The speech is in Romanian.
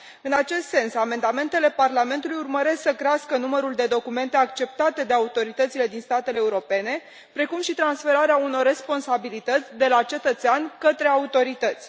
În acest sens, amendamentele Parlamentului urmăresc să crească numărul de documente acceptate de autoritățile din statele europene, precum și transferarea unor responsabilități de la cetățean către autorități.